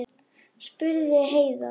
spurði Heiða.